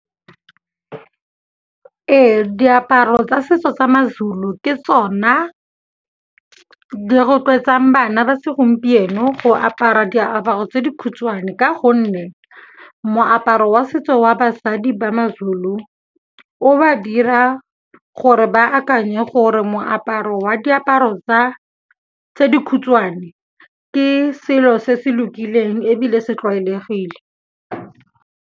Ee, diaparo tsa setso tsa maZulu ke tsona di rotloetsang bana ba segompieno go apara diaparo tse dikhutshwane ka gonne moaparo wa setso wa basadi ba maZulu, o ba dira gore ba akanye gore moaparo wa diaparo tse dikhutshwane ke selo se se lokileng ebile se tlwaelegile.